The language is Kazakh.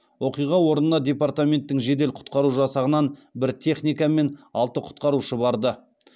оқиға орнына департаменттің жедел құтқару жасағынан бір техника мен алты құтқарушы барды